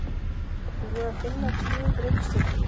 Er búið að finna tíundu reikistjörnuna?